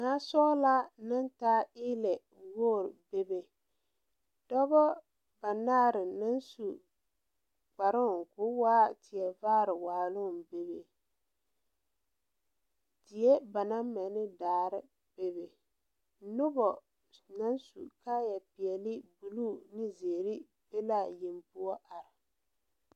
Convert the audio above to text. Naasɔglaa naŋ taa eelɛ poo bebe pɔɔbɔ banaare naŋ su kparoo koo waa tie vaare waaloŋ bebe die ba naŋ mɛ ne daare bebe nobɔ naŋ su kaayɛ peɛle bluu bonzeere be laa yeŋ poɔ are.